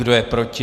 Kdo je proti?